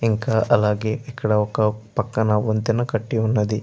ఇంకా అలాగే ఇక్కడ ఒక పక్కన వంతెన కట్టి ఉన్నది.